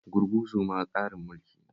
Gurguzu ma tsarin mulki ne